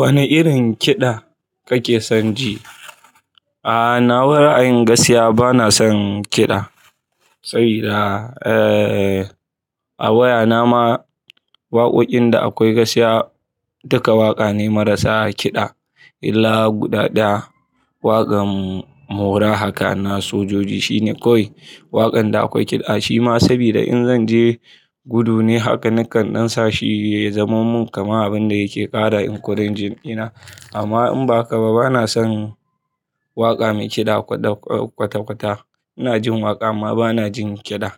Wane irin kiɗa kake son ji? A, na wa ra'a yin gaskiya bana son kiɗa. Sabida, eh, a wayana ma waƙoƙin da akwai gaskiya duka waƙa ne marasa kiɗa. Illa guda ɗaya, waƙan mora haka na sojoji shine kawai waƙan da akwai kiɗa. Shima sabida in zan je gudu ne haka, nakan dan sa shi ya zamomin kamar abin da yake ƙara inƙurin jin ina. Amma in ba haka ba bana son waƙa mai kiɗa kwata-kwata. Ina jin waƙa amma bana jin kiɗa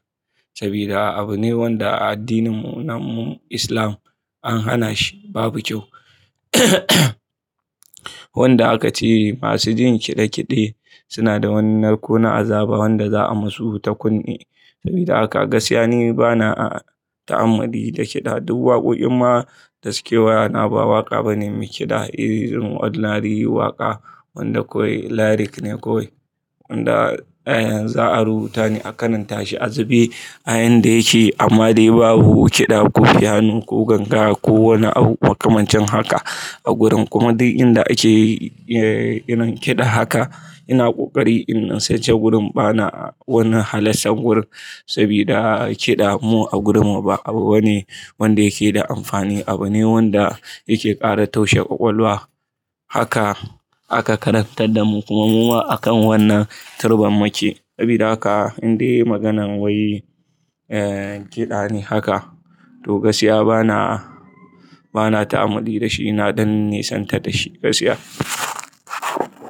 sabida abu ne wanda a addinin mu na mu Islam an hana shi, babu kyau. Wanda haka ce masu jin kiɗe-kiɗe suna da wani narko na azaba wanda za'a musu takunne. Sabida haka gaskiya n bana a ta'ammali da kiɗa. Duk waƙoƙin ma da suke wayana ba waƙa bane mai kiɗa. Irin ordinary waƙa wanda kawai lyric ne kawai wanda, eh, za'a rubuta ne akaran ta shi azube a yan da yake. Amma dai babu kiɗa, kofiyano, ko ganga ko wani abu makamancin haka a gurin. Kuma duk inda ake, eh, irin kiɗa haka ina ƙoƙari in sai ce gurin bana wani halastar gurin sabida kiɗa mu a gurinmu ba abu bane wanda yake da amfani. Abu ne wanda yake ƙara taushe ƙwaƙwalwa. Haka aka karantar da mu kuma muma akan wannan turbar muke. Sabida haka indai maganan wai yi, eh, kiɗa ne haka to gaskiya bana, bana ta'ammali da shi. Ina Dan nisanta dashi gaskiya.